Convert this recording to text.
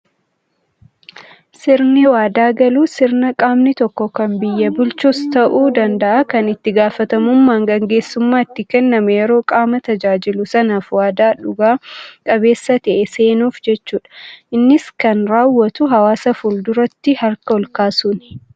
Sirni waadaa galuu, sirna qaamni tokko kan biyya bulchus ta'uu danda'a, kan itti gaafatamummaan gaggeessummaa itti kenname yeroo qaama tajaajilu sanaaf waadaa dhuga qabeessa ta'e seenuuf jechuudha. Innis kan raawwatu, hawaasa fulduraatti harka ol kaasuuni.